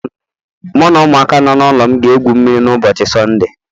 Mụ na ụmụaka nọ n'ụlọ m ga-egwu mmiri ụbọchị Sọnde a